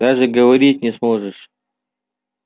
даже говорить не сможешь